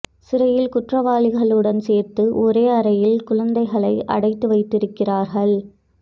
சிறையில் குற்றவாளிகளுடன் சேர்த்து ஒரே அறையில் குழந்தைகளை அடைத்து வைக்கிறார்கள்